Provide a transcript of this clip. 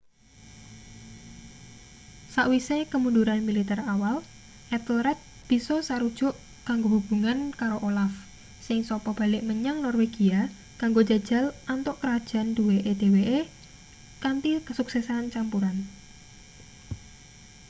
sawise kemunduran militer awal ethelred bisa sarujuk kanggo hubungan karo olaf sing sapa balik menyang norwegia kanggo njajal antuk krajan duweke dheweke kanthi kesuksesan campuran